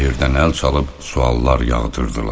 Girdə-girdədən əl çalıb suallar yağdırdılar.